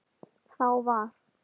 Þá var